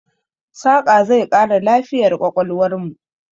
Saƙa zai ƙara lafiyar ƙwaƙwalwarmu.